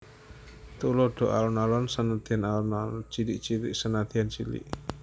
Tuladha Alon alon senadyan alon cilik cilik senadyan cilik